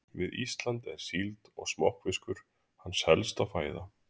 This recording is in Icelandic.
Við Ísland er síld og smokkfiskur hans helsta fæða.